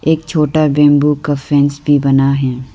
एक छोटा बैम्बू का फैन्स भी बना है।